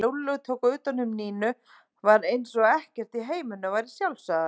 Þegar Lúlli tók utan um Nínu var eins og ekkert í heiminum væri sjálfsagðara.